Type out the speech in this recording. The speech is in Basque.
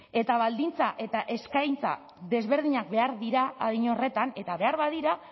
eta baldintza eta eskaintza desberdinak behar dira adin horretan eta behar badira